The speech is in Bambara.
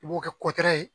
I b'o kɛ ye